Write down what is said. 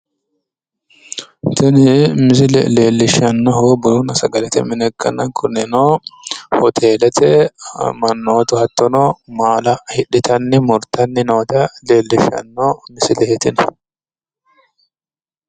Tini misile leellishannohu bununna sagalete mine ikkanna kunino hoteelete mannootu hattono maala hidhitanni murtanni noota leellishshanno misileeti tini.